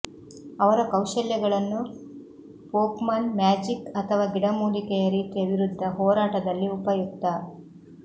ಅವರ ಕೌಶಲ್ಯಗಳನ್ನು Pokemon magic ಅಥವಾ ಗಿಡಮೂಲಿಕೆಯ ರೀತಿಯ ವಿರುದ್ಧ ಹೋರಾಟದಲ್ಲಿ ಉಪಯುಕ್ತ